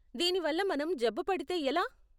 దీని వల్ల మనం జబ్బుపడితే ఎలా?